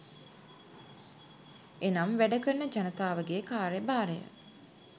එනම් වැඩ කරන ජනතාවගේ කාර්යභාරය